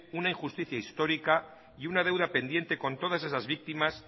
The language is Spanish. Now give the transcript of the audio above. una injusticia histórica y una deuda pendiente con todas esas víctimas